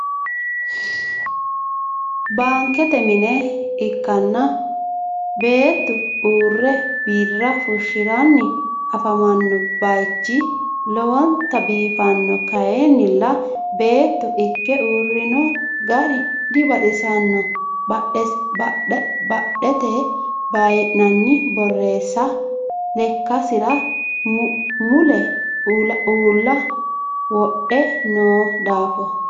bankete minne ikanna beetu uure bira fushiranni afamanno bayichi lowontanni biifanno kayinnila beetu ike uurino gari dibaxisanno badhete bayi'nani borisa lekasira mulle uula wodhe noo daafo.